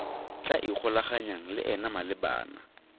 tla ikgolaganyang le ena malebana